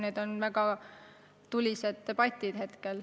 Need on väga tulised debatid.